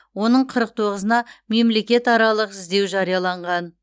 оның қырық тоғызына мемлекетаралық іздеу жарияланған